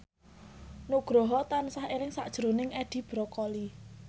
Nugroho tansah eling sakjroning Edi Brokoli